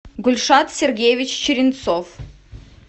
гульшат сергеевич черенцов